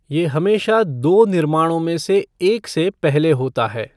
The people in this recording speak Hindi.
ये हमेशा दो निर्माणों में से एक से पहले होता है।